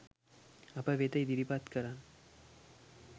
අප වෙත ඉදිරිපත් කරන්න.